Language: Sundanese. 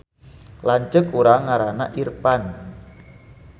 Lanceuk urang ngaranna Irpan